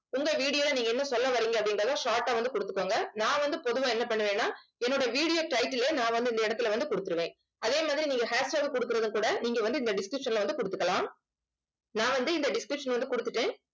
உங்க video ல நீங்க என்ன சொல்ல வர்றீங்க அப்படின்றதை short ஆ வந்து கொடுத்துக்கோங்க. நான் வந்து பொதுவா என்ன பண்ணுவேன்னா என்னோட video title ஏ நான் வந்து இந்த இடத்துல வந்து கொடுத்திருவேன் அதே மாதிரி நீங்க hashtag கொடுக்கிறத கூட நீங்க வந்து இந்த description ல வந்து கொடுத்துக்கலாம் நான் வந்து இந்த description ல வந்து கொடுத்துட்டேன்